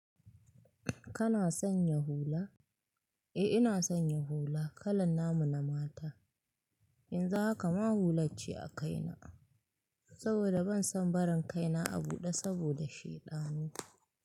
Kana sanya hula? Eh ina sanya hula kalar namu na mata. Yanzu haka ma hular ce a kaina saboda ban son barin kaina a buɗe saboda shaidanu.